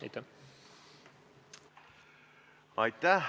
Aitäh!